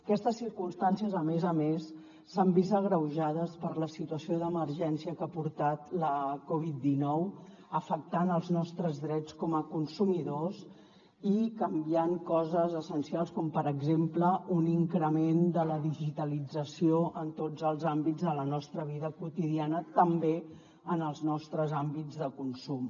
aquestes circumstàncies a més a més s’han vist agreujades per la situació d’emergència que ha portat la covid dinou afectant els nostres drets com a consumidors i canviant coses essencials com per exemple un increment de la digitalització en tots els àmbits de la nostra vida quotidiana també en els nostres àmbits de consum